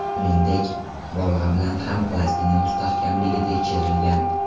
Shuningdek, bolg‘a bilan ham plastina mustahkamligi tekshirilgan.